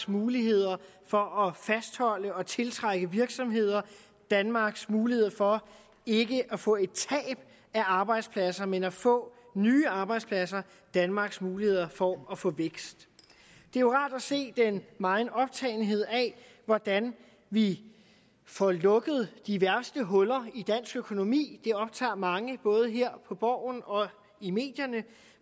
muligheder for at fastholde og tiltrække virksomheder danmarks muligheder for ikke at få et tab af arbejdspladser men at få nye arbejdspladser danmarks muligheder for at få vækst det er jo rart at se den megen optagethed af hvordan vi får lukket de værste huller i dansk økonomi det optager mange både her på borgen og i medierne